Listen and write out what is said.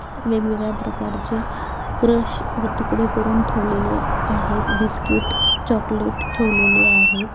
वेगवेगळ्या प्रकारचे क्रश व तुकडे करुन ठेवलेले आहेत. बिसकिट चोकलेट ठेवलेले आहे.